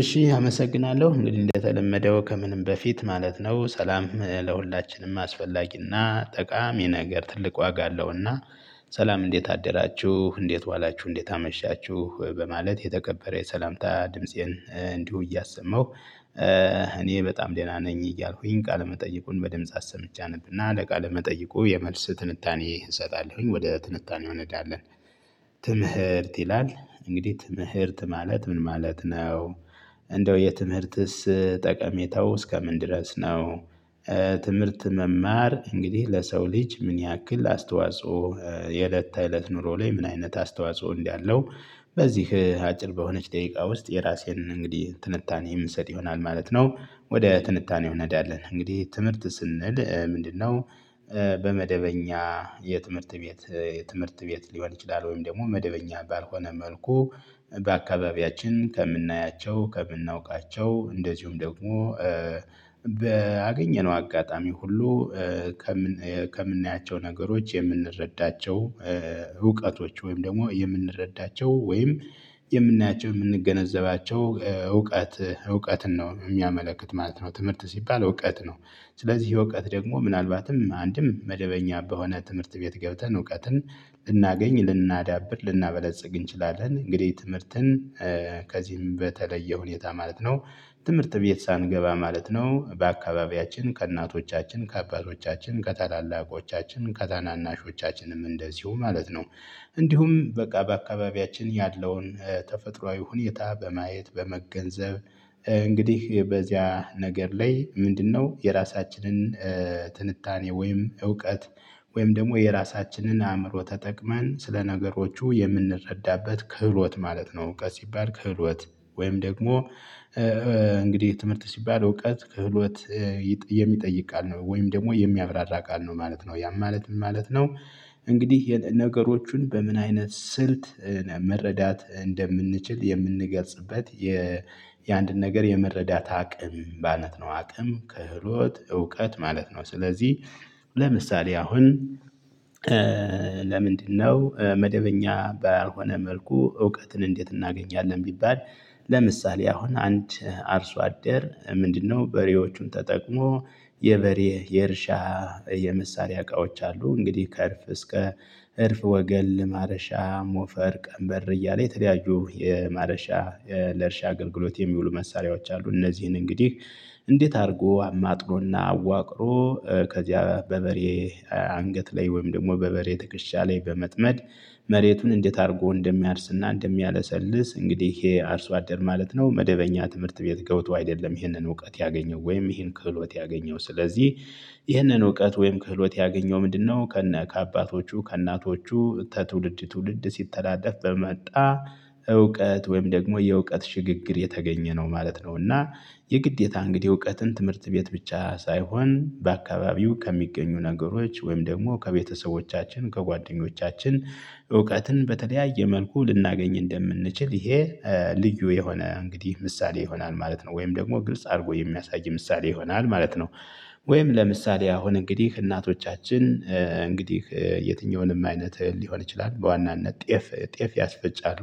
እሺ አመሰግናለሁ እንግዲህ እንደተለመደው ከምንም በፊት ማለት ነው ሰላም ለሁላችንም አስፈላጊና ጠቃሚ ነገር ትልቅ ዋጋ አለውና። ሰላም እንዴት አደራችሁ እንዴት ዋላችሁ እንዴት አመሻችሁ በማለት የተከበረ የሰላምታ ድምፄን እንዲሁ እያሰማሁ። እኔ በጣም ደህና ነኝ እያልኩኝ ቃል መጠይቁን በድምጽ አሰምቼ አነብና ለቃለመጠይቁ የመልስ ትንታኔ እሰጣለሁኝ ወደ ትንታኔው እንሄዳለን። ትምህርት ይላል እንግዲህ ትምህርት ማለት ምን ማለት ነው? እንደው የትምህርትስ ጠቀሜታው እስከምን ድረስ ነው? ትምህርት መማር እንግዲህ ለሰው ልጅ ምን ያክል አስተዋጽኦ የእለት ተእለት ኑሮ ላይ ምን አይነት አስተዋጽኦ እንዳለው። በዚህ አጭር በሆነች ደቂቃ ውስጥ የራሴን እንግዲህ ትንታኔ የምሰጥ ይሆናል ማለት ነው። ወደ ትንታኔው እንሄዳለን እንግዲህ ትምህርት ስንል ምንድነው? በመደበኛ የትምህርት ቤት የትምህርት ቤት ሊሆን ይችላል ወይም ደግሞ መደበኛ ባልሆነ መልኩ። በአካባቢያችን ከምናያቸው ከምናውቃቸው እንደዚሁም ደግሞ ባገኘነው አጋጣሚ ሁሉ። ከምን ከምናያቸው ነገሮች የምንረዳቸው። እውቀቶች ወይም ደግሞ የምንረዳቸው ወይም የምናያቸው የምንገነዘባቸው እውቀት እውቀትን ነው የሚያመለክት ማለት ነው። ትምህርት ሲባል እውቀት ነው። ስለዚህ ይሄ እውቀት ደግሞ ምናልባትም አንድም መደበኛ በሆነ ትምህርት ቤት ገብተን እውቀትን ልናገኝ ልናዳብር ልናበለጽግ እንችላለን። እንግዲህ ትምህርትን ከዚህም በተለየ ሁኔታ ማለት ነው። ትምህርት ቤት ሳንገባ ማለት ነው በአካባቢያችን ከእናቶቻችን ከአባቶቻችን ከታላላቆቻችን ከታናናሾቻችንም እንደዚሁ ማለት ነው። እንዲሁም በቃ በአካባቢያችን ያለውን ተፈጥሮአዊ ሁኔታ በማየት በመገንዘብ እንግዲህ በዚያ ነገር ላይ ምንድነው የራሳችንን ትንታኔ ወይም እውቀት ወይም ደግሞ የራሳችንን አእምሮ ተጠቅመን ስለ ነገሮቹ የምንረዳበት ክህሎት ማለት ነው። እውቀት ሲባል ክህሎት። ወይም ደግሞ እንግዲህ ትምህርት ሲባል እውቀት ክህሎት የሚጠይቅ ቃል ነው ወይም ደግሞ የሚያብራራ ቃል ነው ማለት ነው ያን ማለት ምን ማለት ነው? እንግዲህ ነገሮቹን በምን አይነት ስልት መረዳት እንደምንችል የምንገልጽበት የ የአንድን ነገር የመረዳት አቅም ማለት ነው። አቅም ከህሎት እውቀት ማለት ነው። ስለዚህ ለምሳሌ አሁን። ለምንድነው መደበኛ ባልሆነ መልኩ እውቀትን እንዴት እናገኛለን ቢባል? ለምሳሌ አሁን አንድ አርሶ አደር ምንድነው በሬዎቹን ተጠቅሞ የበሬ የእርሻ የመሳሪያ እቃዎች አሉ እንግዲህ ከእርፍ እስከ እርፍ ወገን ለማረሻ ሞፈር ቀንበር እያለ የተለያዩ የማረሻ ለእርሻ አገልግሎት የሚውሉ መሳሪያዎች አሉ። እነዚህን እንግዲህ እንዴት አድርጎ አማጥኖና አዋቅሮ ከዚያ በበሬ አንገት ላይ ወይም ደግሞ በበሬ ትክሻ ላይ በመጥመድ መሬቱን እንዴት አድርጎ እንደሚያርስና እንደሚያለሰልስ እንግዲህ ይሄ አርሶ አደር ማለት ነው። መደበኛ ትምህርት ቤት ገብቶ አይደለም ይህንን እውቀት ያገኘው ወይም ይህን ክህሎት ያገኘው ስለዚህ። ይህንን እውቀት ወይም ክህሎት ያገኘው ምንድነው ከነ ከአባቶቹ ከእናቶቹ ከትውልድ ትውልድ ሲተላለፍ በመጣ እውቀት ወይም ደግሞ የእውቀት ሽግግር የተገኘ ነው ማለት ነው። እና የግዴታ እንግዲህ እውቀትን ትምህርት ቤት ብቻ ሳይሆን በአካባቢው ከሚገኙ ነገሮች ወይም ደግሞ ከቤተሰቦቻችን ከጓደኞቻችን እውቀትን በተለያየ መልኩ ልናገኝ እንደምንችል ይሄ ልዩ የሆነ እንግዲህ ምሳሌ ይሆናል ማለት ነው። ወይም ደግሞ ግልጽ አድርጎ የሚያሳይ ምሳሌ ይሆናል ማለት ነው። ወይም ለምሳሌ አሁን እንግዲህ እናቶቻችን እንግዲህ የትኛውንም አይነት ሊሆን ይችላል በዋናነት ጤፍ ጤፍ ያስፈጫሉ።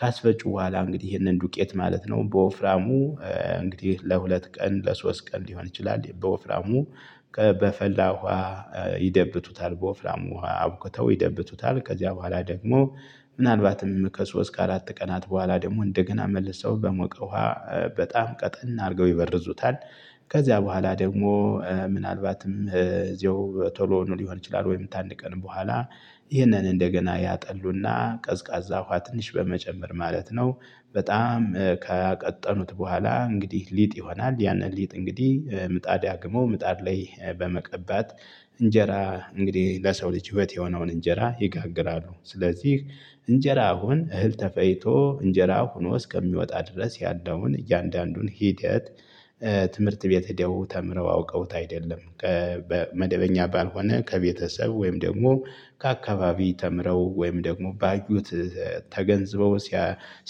ካስፈጩ በኋላ እንግዲህ ይሄንን ዱቄት ማለት ነው በወፍራሙ እንግዲህ ለሁለት ቀን ለሶስት ቀን ሊሆን ይችላል በወፍራሙ በፈላ ውሃ ይደብቱታል በወፍራም ውሃ አብክተው ይደብቱታል ከዚያ በኋላ ደግሞ ምናልባትም ከሶስት ካራት ቀናት በኋላ ደግሞ እንደገና መልሰው በሞቀ ውሃ በጣም ቀጠን አድርገው ይበርዙታል። ከዚያ በኋላ ደግሞ ምናልባትም እዚያው ቶሎ ሊሆን ይችላል ወይም ታንድ ቀን በኋላ ይህንን እንደገና ያጠሉና ቀዝቃዛ ውሃ ትንሽ በመጨመር ማለት ነው። በጣም ካቀጠኑት በኋላ እንግዲህ ሊጥ ይሆናል ያንን ሊጥ እንግዲህ ምጣድ ያግሞ ምጣድ ላይ በመቀባት እንጀራ እንግዲህ ለሰው ልጅ ህይወት የሆነውን እንጀራ ይጋግራሉ። ስለዚህ እንጀራ አሁን እህል ተፈጭቶ እንጀራ ሆኖ እስከሚወጣ ድረስ ያለውን እያንዳንዱን ሂደት። ትምህርት ቤት ሄደው ተምረው አውቀውት አይደለም። በመደበኛ ባልሆነ ከቤተሰብ ወይም ደግሞ ከአካባቢ ተምረው ወይም ደግሞ ባዩት ተገንዝበው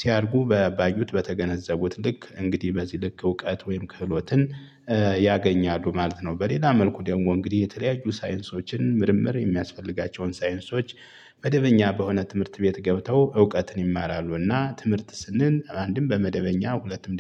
ሲያረጉ ባዩት በተገነዘቡት ልክ እንግዲህ በዚህ ልክ እውቀት ወይም ክህሎትን ያገኛሉ ማለት ነው። በሌላ መልኩ ደግሞ እንግዲህ የተለያዩ ሳይንሶችን ምርምር የሚያስፈልጋቸውን ሳይንሶች። መደበኛ በሆነ ትምህርት ቤት ገብተው እውቀትን ይማራሉና ትምህርት ስንል አንድም በመደበኛ ሁለትም